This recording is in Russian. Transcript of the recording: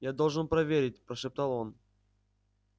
я должен проверить прошептал он